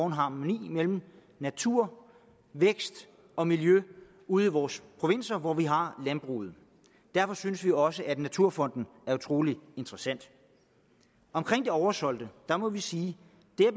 en harmoni mellem natur vækst og miljø ude i vores provinser hvor vi har landbruget derfor synes vi også at en naturfond er utrolig interessant omkring det oversolgte må vi sige